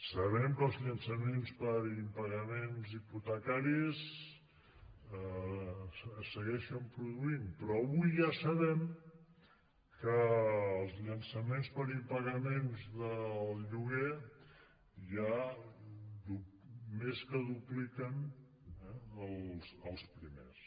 sabem que els llançaments per impagaments hipotecaris es segueixen produint però avui ja sabem que els llançaments per impagaments del lloguer ja més que dupliquen els primers